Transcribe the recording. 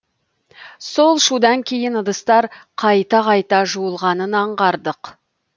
сол шудан кейін ыдыстар қайта қайта жуылғанын аңғардық